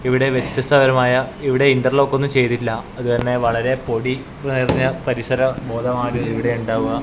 ഇവിടെ വ്യത്യസ്ത തരമായ ഇവിടെ ഇൻറർലോക്ക് ഒന്നും ചെയ്തിട്ടില്ല അതുതന്നെ വളരെ പൊടി നിറഞ്ഞ പരിസര ബോധമാണ് ഇവിടെ ഉണ്ടാവുക.